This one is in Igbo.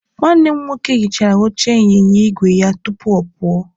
Nwanne m nwoke hichara oche ịnyịnya igwe ya tupu ọ pụọ.